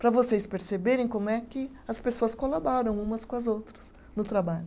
Para vocês perceberem como é que as pessoas colaboram umas com as outras no trabalho.